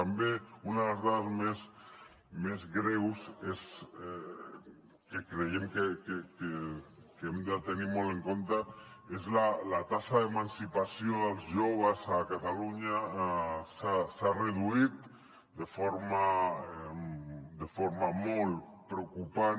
també una de les dades més greus que creiem que hem de tenir molt en compte és la taxa d’emancipació dels joves a catalunya s’ha reduït de forma molt preocupant